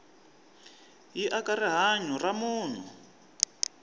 yi aka rihanyu ra munhu